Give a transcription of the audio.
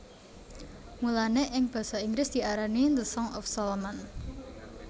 Mulané ing basa Inggris diarani The Song of Solomon